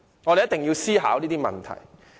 我們要思考這些問題。